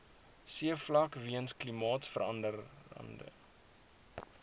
seevlak weens klimaatsverande